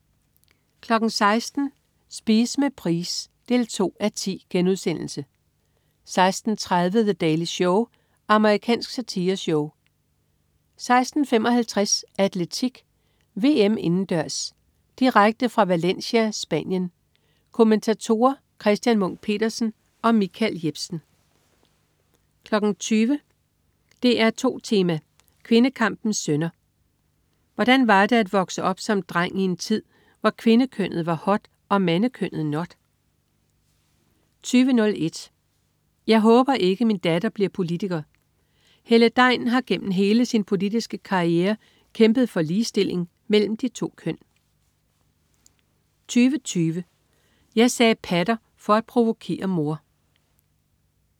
16.00 Spise med Price 2:10* 16.30 The Daily Show. Amerikansk satireshow 16.55 Atletik: VM indendørs. Direkte fra Valencia, Spanien. Kommentatorer: Christian Munk Petersen og Michael Jepsen 20.00 DR2 Tema: Kvindekampens sønner. Hvordan var det at vokse op som dreng i en tid, hvor kvindekønnet var hot, og mandekønnet not? 20.01 Jeg håber ikke, min datter bliver politiker. Helle Degn har gennem hele sin politiske karriere kæmpet for ligestilling mellem de to køn 20.20 Jeg sagde "patter" for at provokere mor